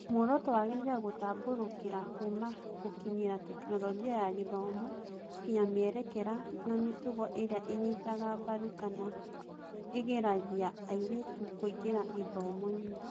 Muoroto wagĩrĩire gũtambũrũkĩra kuuma gũkinyĩra Tekinoronjĩ ya Gĩthomo nginya mĩerekera na mĩtugo ĩrĩa ĩnyitaga mbaru kana ĩgiragia airĩtu kũingĩra gĩthomo-inĩ.